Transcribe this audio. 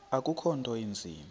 akukho nto inzima